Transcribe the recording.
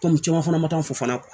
caman fana ma taa n fɔ fana